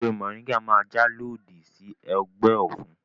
Ewé mọ̀ríńgà máa jà lòdì sí ọgbẹ́ ọ̀fun